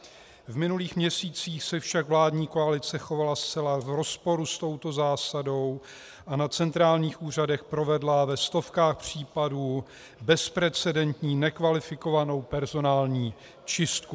V minulých měsících se však vládní koalice chovala zcela v rozporu s touto zásadou a na centrálních úřadech provedla ve stovkách případů bezprecedentní nekvalifikovanou personální čistku.